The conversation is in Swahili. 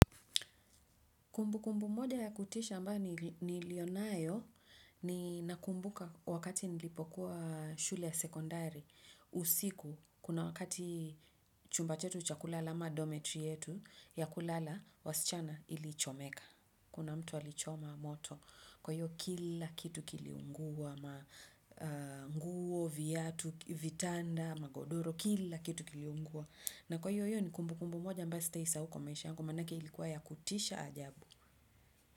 Kumbukumbu moja ya kutisha ambayo nilionayo, ni nakumbuka wakati nilipokuwa shule ya sekondari, usiku, kuna wakati chumba chetu chakulala ama dometri yetu, ya kulala wasichana ilichomeka. Kuna mtu alichoma moto, kwa hiyo kila kitu kiliungua, ma nguo, viatu, vitanda, magodoro, kila kitu kiliungua. Na kwa hiyo hiyo ni kumbukumbu moja ambayo sitaisahau kwa maisha yangu manake ilikuwa ya kutisha ajabu.